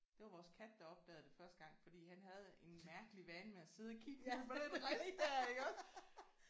Det var vores kat der opdagede det første gang fordi han havde en mærkelig vane med at sidde og kigge på den rist der iggås